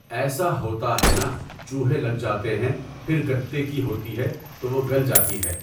ایسا ہوتا ہے نا چوہے لگ جاتے ہیں پھر گتّے کی ہوتی ہے تو وہ گل جاتی ہے۔